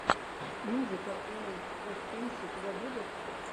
музыка уорлд оф тэнкс у тебя будет